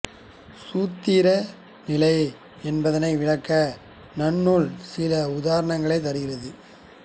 சூத்திர நிலை என்பதனை விளக்க நன்னூல் சில உதாரணங்களைத் தருகிறது